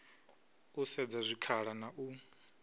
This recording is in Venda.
u sedza zwikhala na u